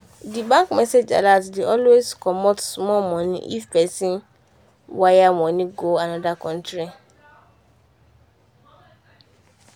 the bank message alert dey always comot small money if pesin wire money go another country.